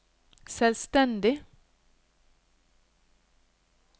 selvstendig